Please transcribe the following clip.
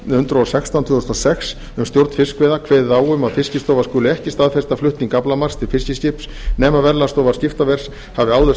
og sextán tvö þúsund og sex um stjórn fiskveiða kveðið á um að fiskistofa skuli ekki staðfesta flutning aflamarks til fiskiskips nema verðlagsstofa skiptaverðs hafi áður staðfest